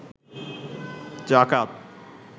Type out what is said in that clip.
যাকাত